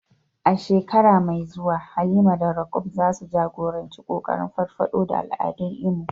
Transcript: A shekara mai zuwa, Halima da Roqeeb za su jagoranci kokarin farfado da al'adun Imo.